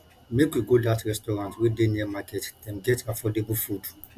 make we go dat restaurant wey dey near market dem get affordable food